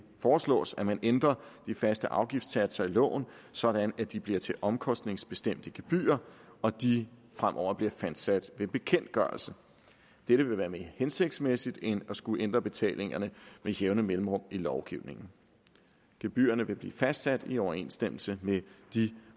foreslås at man ændrer de faste afgiftssatser i loven sådan at de bliver til omkostningsbestemte gebyrer og at de fremover bliver fastsat ved bekendtgørelse dette vil være mere hensigtsmæssigt end at skulle ændre betalingerne med jævne mellemrum i lovgivningen gebyrerne vil blive fastsat i overensstemmelse med de